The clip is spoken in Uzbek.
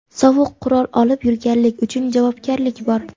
Sovuq qurol olib yurganlik uchun javobgarlik bor.